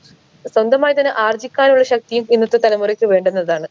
സ്വന്തമായി തന്നെ ആർജിക്കാനുള്ള ശക്തിയും ഇന്നത്തെ തലമുറയ്ക്ക് വേണ്ടുന്നതാണ്